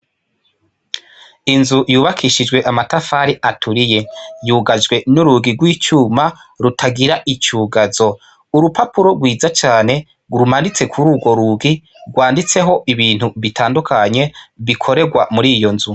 Inzu yubakishijwe amatafali aturiye yugajwe n'urugi rw'icuma rutagira icugazo urupapuro rwiza cane rumanitse kuri urwo rugi rwanditseho ibintu bitandukanye bikorerwa muri iyo nzu.